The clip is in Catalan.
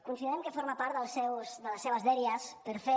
considerem que forma part de les seves dèries per fer